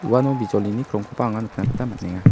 uano bijolini krongkoba anga nikna gita man·enga.